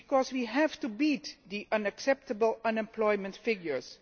We have to beat the unacceptable unemployment figures.